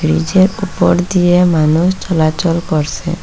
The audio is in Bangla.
ব্রিজের উপর দিয়ে মানুষ চলাচল করসে।